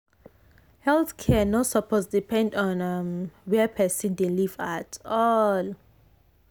health care no suppose depend on um where person dey live at all.